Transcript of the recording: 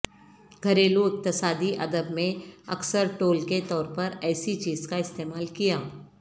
گھریلو اقتصادی ادب میں اکثر ٹول کے طور پر ایسی چیز کا استعمال کیا